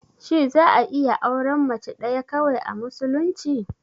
Shi za'a iya auren Mace ɗaya kawai, a musulunci?